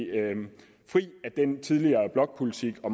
fri af den tidligere blokpolitik og